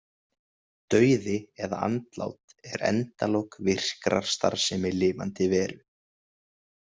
Dauði eða andlát er endalok virkrar starfsemi lifandi veru.